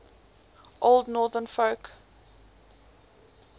old northern folk